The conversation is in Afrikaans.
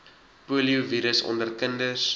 poliovirus onder kinders